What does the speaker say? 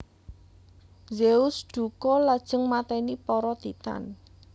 Zeus dukha lajeng mateni para Titan